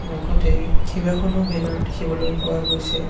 লগতে কেইবাখনো বেনাৰ দেখিবলৈ পোৱা গৈছে।